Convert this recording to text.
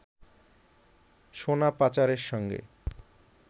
সোনা পাচারের সঙ্গে